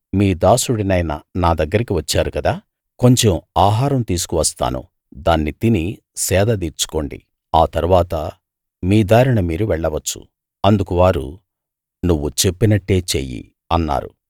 మీ దాసుడినైన నా దగ్గరికి వచ్చారు కదా కొంచెం ఆహారం తీసుకు వస్తాను దాన్ని తిని సేద దీర్చుకోండి ఆ తరువాత మీ దారిన మీరు వెళ్ళవచ్చు అందుకు వారు నువ్వు చెప్పినట్టే చెయ్యి అన్నారు